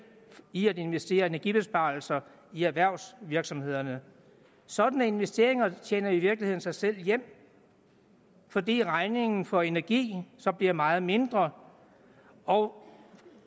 i at investere i energibesparelser i erhvervsvirksomhederne sådanne investeringer tjener i virkeligheden sig selv hjem fordi regningen for energi så bliver meget mindre og